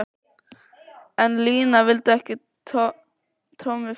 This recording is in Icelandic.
En Lína vildi ekki að Tommi færi.